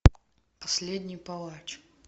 последний палач